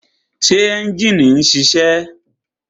Ṣé ẹ́njìnì ń ṣiṣẹ́?